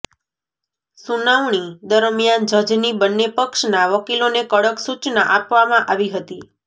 સુનાવણી દરમિયાન જજની બંને પક્ષના વકીલોને કડક સુચના આપવામાં આવી હતી